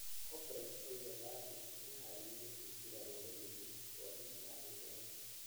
Albright oigaga atĩ nĩ eharĩrie kũingĩra rũrĩrĩ-inĩ rwa ndini ya gĩithiramu